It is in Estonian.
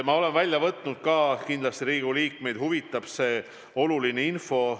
Ma olen välja võtnud värske info, kindlasti see huvitab ka Riigikogu liikmeid.